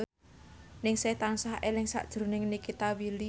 Ningsih tansah eling sakjroning Nikita Willy